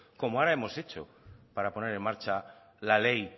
como ahora hemos hecho para poner en marcha la ley